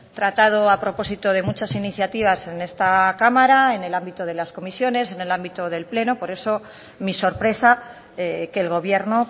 tratado a propósito de muchas iniciativas en esta cámara en el ámbito de las comisiones en el ámbito del pleno por eso mi sorpresa que el gobierno